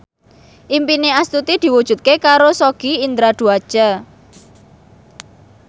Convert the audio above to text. impine Astuti diwujudke karo Sogi Indra Duaja